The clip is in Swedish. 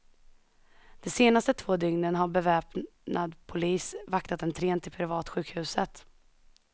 De senaste två dygnen har beväpnad polis vaktat entrén till privatsjukhuset.